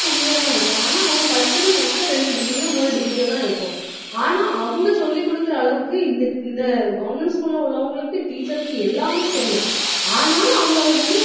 கம்மியா தான் இருக்கும். ஆனா, அவங்க படிச்சது மொத்தம் ரெண்டு degree யோ மூணு degree யோதான் இருக்கும். ஆனா, அவங்க சொல்லிக் கொடுக்கிற அளவுக்கு இந்த இந்த government school ல உள்ளவங்களுக்கு teacher க்கு எல்லாமே தெரியும் ஆனாலும் அவங்க அதை வெளிய